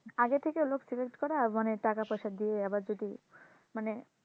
আগে থেকে লোক select করা মানে টাকা পয়সা দিয়ে আবার যদি মানে,